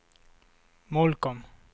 Molkom